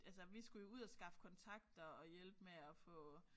Altså vi skulle jo ud og skaffe kontakter og hjælpe med at få